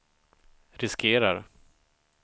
riskerar